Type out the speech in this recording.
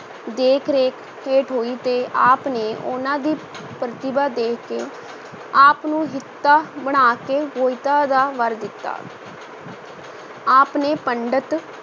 ਦੇਖ-ਰੇਖ ਹੇਠ ਹੋਈ ਤੇ ਆਪ ਨੇ ਉਹਨਾਂ ਦੀ ਪ੍ਰਤਿਭਾ ਦੇਖ ਕੇ ਆਪ ਨੂੰ ਹਿਤਾ ਬਣਾ ਕੇ ਬੋਹਿਥਾ ਦਾ ਵਰ ਦਿੱਤਾ ਆਪ ਨੇ ਪੰਡਤ